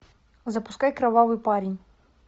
запускай кровавый парень